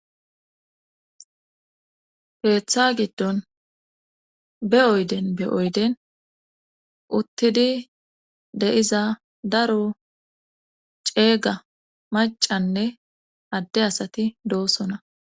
keeththa giddon be oyden be oyden uttidi de'iza daro ceega macanne adde asati doosona.